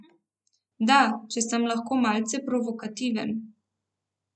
Da, če sem lahko malce provokativen.